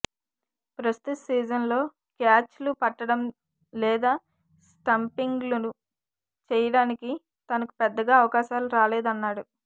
ప్రస్తుత సీజన్లో క్యాచ్లు పట్టడం లేదా స్టంపింగులు చేయడానికి తనకు పెద్దగా అవకాశాలు రాలేదన్నాడు